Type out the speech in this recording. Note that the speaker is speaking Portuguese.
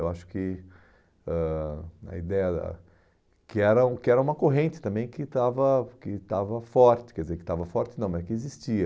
Eu acho que ãh a ideia que era o que era uma corrente também que estava que estava forte, quer dizer, que estava forte não, mas que existia.